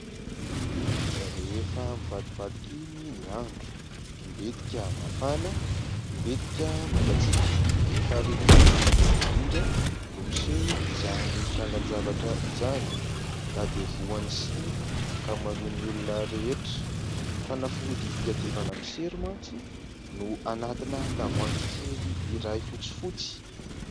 Rehefa mivadibadikiny ny andro mbetika mafana mbetika mangatsiaka rehefa ririnina moa indrindra indrindra no miseho izany trangan-javatra izany ka dia voan'ny sery ny ankamaroan'ny olona rehetra. Fanafody hiadivana ny sery mantsy no anatina tavoahangy kely iray fotsifotsy.